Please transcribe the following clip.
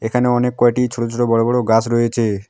এখানে অনেক কয়টি ছোট ছোট বড়ো বড়ো গাছ রয়েছে।